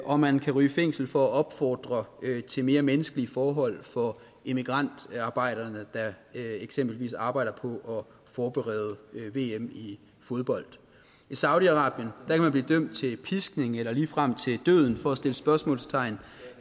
og man kan ryge i fængsel for at opfordre til mere menneskelige forhold for immigrantarbejderne der eksempelvis arbejder på at forberede vm i fodbold i saudi arabien kan man blive dømt til piskning eller ligefrem til døden for at sætte spørgsmålstegn